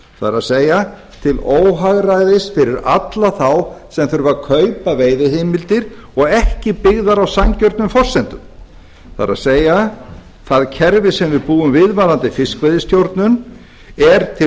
það er til óhagræðis fyrir alla þá sem þurfa að kaupa veiðiheimildir og ekki byggðar á sanngjörnum forsendum það er það kerfi sem við búum við varðandi fiskveiðistjórnun er til